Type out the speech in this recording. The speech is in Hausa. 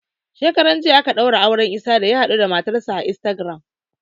Shekaran jiya aka ɗaura auren Isah da ya haɗuda matar sa a Instagram